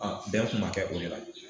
bɛn kun ma kɛ o de la